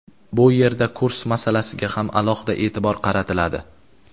Bu yerda kurs masalasiga ham alohida e’tibor qaratiladi.